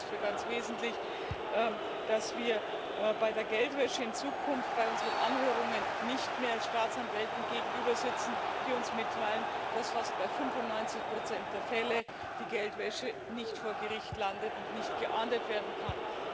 Ich halte es für ganz wesentlich, dass wir bei der Geldwäsche in Zukunft bei unseren Anhörungen nicht mehr Staatsanwälten gegenübersitzen, die uns mitteilen, dass bei fast 95 der Fälle die Geldwäsche nicht vor Gericht landet und nicht geahndet werden kann.